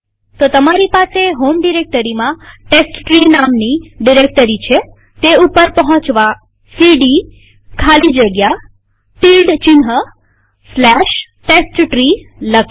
તો તમારી પાસે હોમ ડિરેક્ટરીમાં ટેસ્ટટ્રી નામની ડિરેક્ટરી છેતે ઉપર પહોંચવા સીડી ખાલી જગ્યા ટીલ્ડ testtree લખીએ